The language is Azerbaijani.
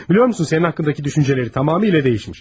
Bilirsən sənin haqqındakı düşüncələri tamamilə dəyişib.